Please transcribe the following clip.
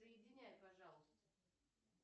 соединяй пожалуйста